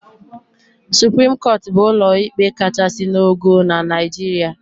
Supreme Court bụ ụlọ ikpe kachasị n'ogo na Naijiria.